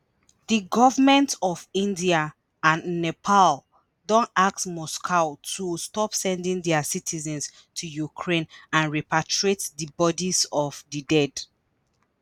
di governments of india and nepal don ask moscow to stop sending dia citizens to ukraine and repatriate di bodies of di dead.